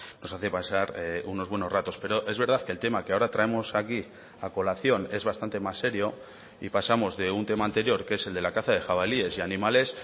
nos hace pasar unos buenos ratos pero es verdad que el tema que ahora traemos aquí a colación es bastante más serio y pasamos de un tema anterior que es el de la caza de jabalíes y animales